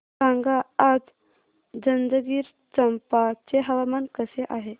सांगा आज जंजगिरचंपा चे हवामान कसे आहे